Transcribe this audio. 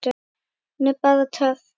Hún er bara töff.